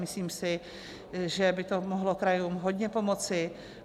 Myslím si, že by to mohlo krajům hodně pomoci.